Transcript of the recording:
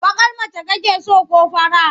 Baƙar mace mace so ko fara?